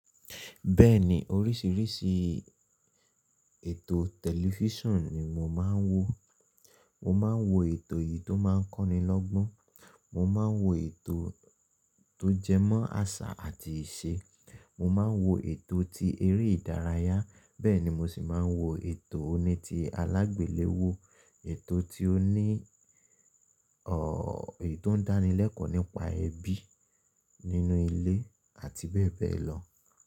Bẹ́ẹ̀ni oríṣìíríṣìí ètò tẹlifísàn ni mo máa ń wò. Mo máa ń wo ètò yìí tó máa ń kọ́ni lọ́gbọ́n, mo máa ń wo ètò tó jẹmọ́ àṣà àti ìṣe, mo máa ń wo ètò tí eré ìdárayá bẹ́ẹ̀ ni mo sì máa ń wo ètò oní ti alágbèléwọ́, ètò tí ó ní, èyí tó ń dáni lẹ́kọ̀ọ́ nípa ẹbí nínú ilé àti bẹ́ẹ̀ bẹ́ẹ̀ lọ.